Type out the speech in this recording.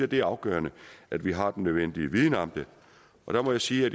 det er afgørende at vi har den nødvendige viden om det og der må jeg sige at